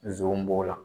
Zonw b'o la